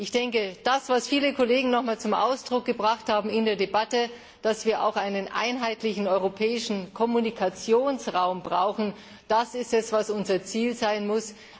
Ich denke, das, was viele Kollegen in der Debatte noch mal zum Ausdruck gebracht haben, dass wir auch einen einheitlichen europäischen Kommunikationsraum brauchen, das ist es, was unser Ziel sein muss.